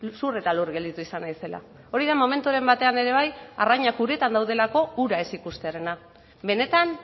zur eta lur gelditu izan naizela hori da momenturen batean ere bai arrainak uretan daudelako ura ez ikustearena benetan